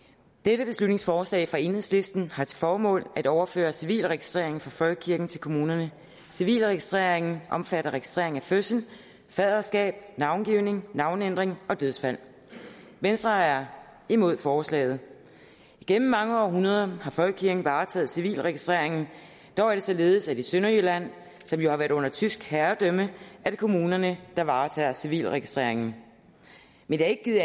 dette beslutningsforslag fra enhedslisten har til formål at overføre civilregistreringen fra folkekirken til kommunerne civilregistreringen omfatter registreringen af fødsler faderskab navngivning navneændring og dødsfald venstre er imod forslaget igennem mange århundreder har folkekirken varetaget civilregistreringen dog er det således at det i sønderjylland som jo har været under tysk herredømme er kommunerne der varetager civilregistreringen men det har ikke givet